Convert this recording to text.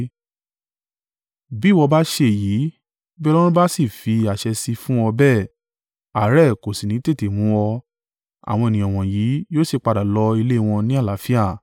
Bí ìwọ bá ṣe èyí, bí Ọlọ́run bá sì fi àṣẹ sí i fún ọ bẹ́ẹ̀, àárẹ̀ kò sì ní tètè mu ọ, àwọn ènìyàn wọ̀nyí yóò sì padà lọ ilé wọn ni àlàáfíà.”